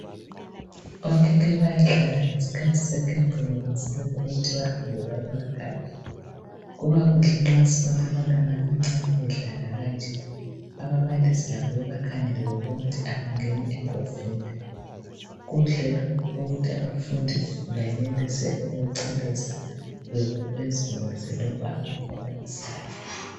okhekhe bayadlala ngesikhathi sekhefu belungiselela ukuthi bahambe baye emakhaya kubakuhle nxa sibona abantwana abancane bedlala kanje ababalisi labo bebakhangele bebona ukuthi abangangeni engozini kuhle lokhu ukuthi abafundi bayenelise ukuchelesa bezibonise lokhu abakukwanisayo